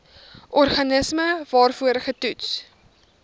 organisme waarvoor getoets